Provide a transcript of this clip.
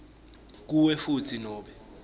kuwe futsi nobe